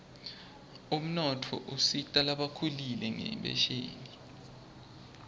umnotfo usita lasebakhulile ngenphesheni